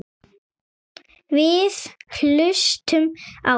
Við hlustum á þig.